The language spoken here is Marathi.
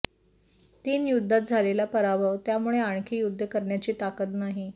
तीन युद्धात झालेला पराभव त्यामुळे आणखी युद्ध करण्याची ताकद नाही